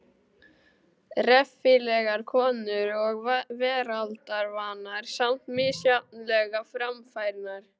Reffilegar konur og veraldarvanar, samt misjafnlega framfærnar.